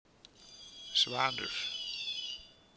Svanur